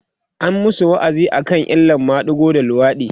an masu wa'azi akan illan madigo da luwaɗi